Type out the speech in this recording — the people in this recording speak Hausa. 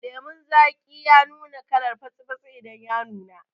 Lemun zaki ya nuna kalar fatsi fatsi idan ya nuna